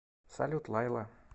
салют лайла